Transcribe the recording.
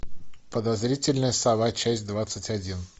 подозрительная сова часть двадцать один